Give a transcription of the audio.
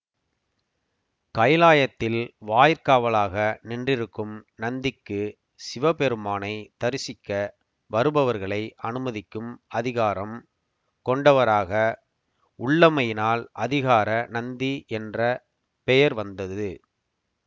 கைலாயத்தில் வாயிற்காவலாக நின்றிருக்கும் நந்திக்கு சிவபெருமானை தரிசிக்க வருபவர்களை அனுமதிக்கும் அதிகாரம் கொண்டவராக உள்ளமையினால் அதிகார நந்தி என்ற பெயர் வந்தது